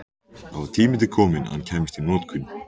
Það var tími til kominn að hann kæmist í notkun!